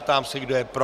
Ptám se, kdo je pro.